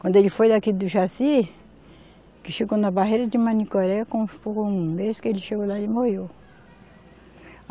Quando ele foi daqui do Jaci, que chegou na barreira de Manicoré, quando foi um mês que ele chegou lá ele morreu.